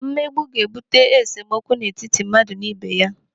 Mmegbu ga-ebute esemokwu n'etiti mmadụ n'ibé ya.